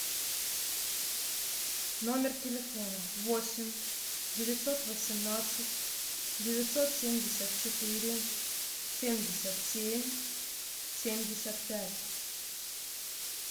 номер телефона восемь девятьсот восемнадцать девятьсот семьдесят четыре семьдесят семь семьдесят пять